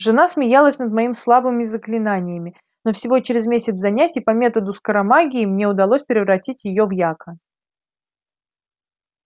жена смеялась над моими слабыми заклинаниями но всего через месяц занятий по методу скоромагии мне удалось превратить её в яка